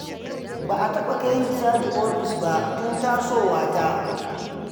Ba a taɓa kaini caji ofis ba tun tasowa ta.